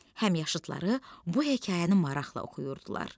Həmyaşıtları bu hekayəni maraqla oxuyurdular.